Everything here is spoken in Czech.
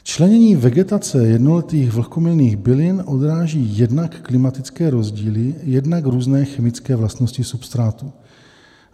Členění vegetace jednoletých vlhkomilných bylin odráží jednak klimatické rozdíly, jednak různé chemické vlastnosti substrátu.